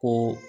Ko